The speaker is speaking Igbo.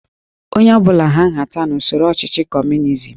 Onye ọ bụla hà nhata n'usoro ọchịchị Kọmunizm